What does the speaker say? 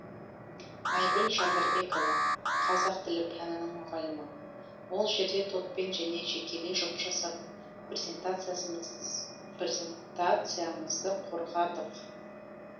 айгүл жандарбекова қазақ тілі пәнінің мұғалімі ол жерде топпен және жекелей жұмыс жасап презентациямызды қорғадық